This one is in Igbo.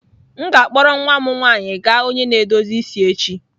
M ga-akpọrọ nwa m nwanyị gaa onye na-edozi isi echi.